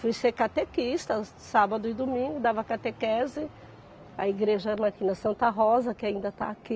Fui ser catequista, sábado e domingo dava catequese, a igreja era aqui na Santa Rosa, que ainda está aqui.